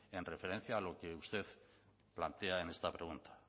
en referencia a lo que usted plantea en esta pregunta